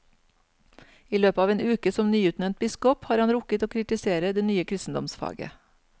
I løpet av en uke som nyutnevnt biskop har han rukket å kritisere det nye kristendomsfaget.